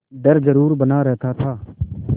डर जरुर बना रहता था